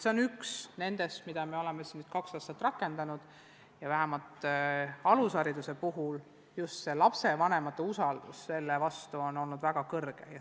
See on üks meetmetest, mida me oleme kaks aastat rakendanud ja vähemalt alushariduse puhul on lapsevanemate usaldus selle vastu on olnud väga suur.